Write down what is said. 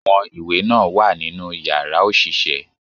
Àwọn ìwé náà wà nínú yàrá òṣìṣẹ́